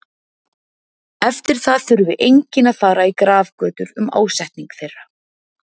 Eftir það þurfti enginn að fara í grafgötur um ásetning þeirra.